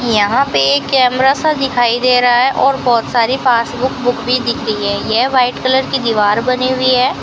यहां पे कैमरा सा दिखाई दे रहा है और बहुत सारी पासबुक बुक भी दिख रही है ये व्हाइट कलर की दीवार बनी हुई है।